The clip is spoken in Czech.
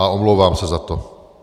A omlouvám se za to.